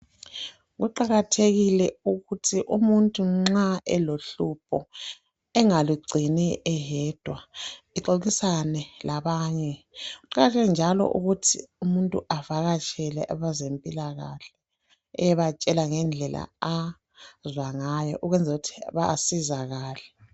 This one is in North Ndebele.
Kuqakathekile ukuthi umuntu nxa elohlupho engalugcini eyedwa lixoxisane labanye. Kuqakatheke njalo ukuthi avakatshele abezempilakahle eyebatshela ngendlela azwa ngayo ukwenzela ukuthi basizakale.